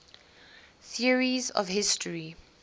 theories of history